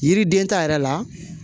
Yiriden ta yɛrɛ la